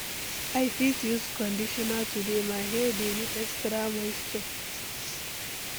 I fit use conditioner today, my hair dey need extra moisture.